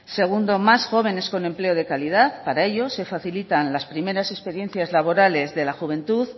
segundo más jóvenes con empleo de calidad para ellos se facilitan las primeras experiencias laborales de la juventud